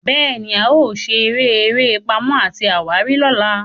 béèni, ao sere eré Pàmò àti àwárí lọla.